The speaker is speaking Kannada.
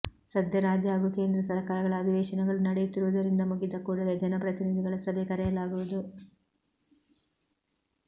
ಸದ್ಯ ರಾಜ್ಯ ಹಾಗೂ ಕೇಂದ್ರ ಸರಕಾರಗಳ ಅಧಿವೇಶನಗಳು ನಡೆಯುತ್ತಿರುವುದರಿಂದ ಮುಗಿದ ಕೂಡಲೇ ಜನಪ್ರತಿನಿಧಿಗಳ ಸಭೆ ಕರೆಯಲಾಗುವುದು